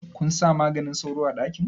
Kunsa maganin sauro a ɗakin?